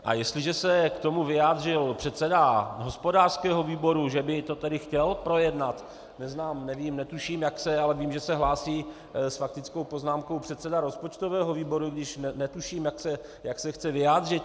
A jestliže se k tomu vyjádřil předseda hospodářského výboru, že by to tedy chtěl projednat - neznám, nevím, netuším, jak se, ale vím, že se hlásí s faktickou poznámkou předseda rozpočtového výboru, i když netuším, jak se chce vyjádřit.